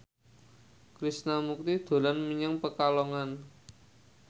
Krishna Mukti dolan menyang Pekalongan